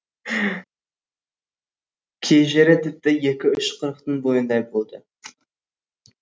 кей жері тіпті екі үш құрықтың бойындай болды